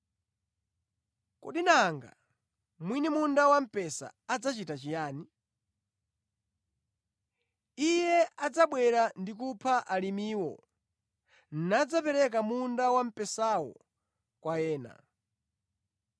“Kodi nanga mwini munda wamphesa adzachita chiyani? Iye adzabwera ndi kupha alimiwo nadzapereka munda wamphesawo kwa ena.